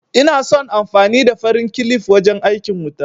Ina son amfani da farin kilif wajen aikin wuta